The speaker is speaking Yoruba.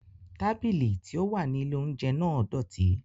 Tábìlì tí ó wà ní ilè óúnjẹ náà dọ̀tí